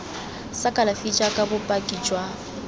sa kalafi jaaka bopaki jwa